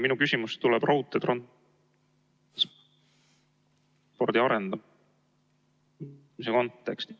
Minu küsimus tuleb raudteetranspordi arendamise kontekstis.